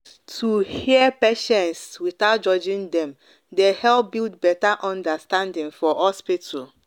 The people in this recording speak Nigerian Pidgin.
to hear patients without judging dem dey help build better understanding for hospital.